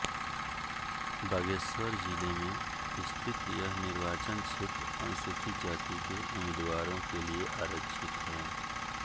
बागेश्वर जिले में स्थित यह निर्वाचन क्षेत्र अनुसूचित जाति के उम्मीदवारों के लिए आरक्षित है